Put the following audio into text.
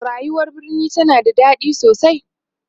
rayuwar birni tana da daɗi sosai